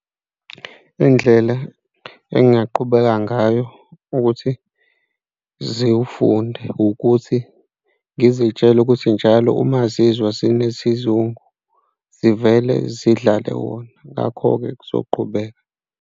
Iy'ndlela engaqhubeka ngayo ukuthi ziwufunde ukuthi ngizitshele ukuthi njalo uma zizwa zinesizungu zivele zidlale wona, ngakho-ke kuzoqhubeka.